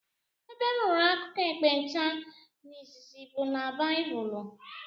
Ebe m nụrụ akụkọ ekpenta n'izizi bụ n' baibulu.